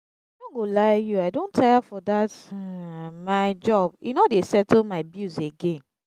i no go lie you i don tire for dat my job e no dey settle my bills again